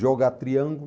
Jogar triângulo.